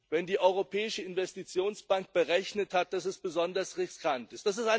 wenn die Europäische Investitionsbank berechnet hat, dass es besonders riskant ist.